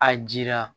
A jira